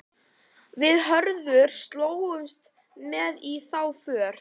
Við Hörður slógumst með í þá för.